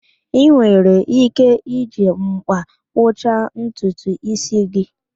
Ị nwere ike iji m̀kpá kpụcha ntutu ísí gị